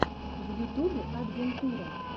в ютубе адвентура